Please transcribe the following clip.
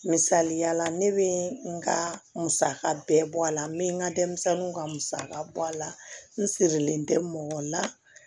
Misaliya la ne bɛ n ka musaka bɛɛ bɔ a la n bɛ n ka denmisɛnninw ka musaka bɔ a la n sirilen tɛ mɔgɔ la